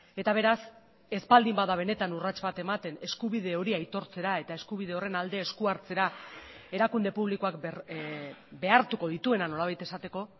eta beraz ez baldin bada benetan urrats bat ematen eskubide hori aitortzera eta eskubide horren alde esku hartzera erakunde publikoak behartuko dituena nolabait esateko